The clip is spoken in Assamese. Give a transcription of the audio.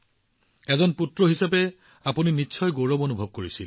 আপুনি অভিজিতে নিশ্চিতভাৱে পুত্ৰ হিচাপে গৌৰৱ অনুভৱ কৰে